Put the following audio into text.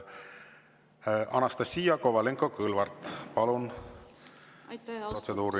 Anastassia Kovalenko-Kõlvart, palun, protseduuriline!